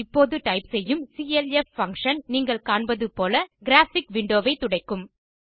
இப்போது டைப் செய்யும் clf function நீங்கள் காண்பது போல கிராபிக் விண்டோ ஐ துடைக்கும்